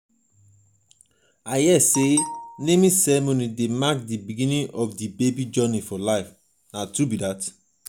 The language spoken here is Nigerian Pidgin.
i hear sey naming ceremony dey mark di beginning of di baby journey for life.